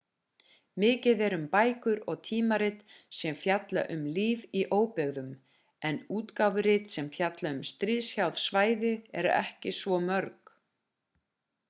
mikið er um bækur og tímarit sem fjalla um líf í óbyggðum en útgáfurit sem fjalla um stríðshrjáð svæði eru ekki svo mörg